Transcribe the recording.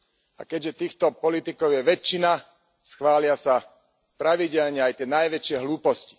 A keďže týchto politikov je väčšina, schvália sa pravidelne aj tie najväčšie hlúposti.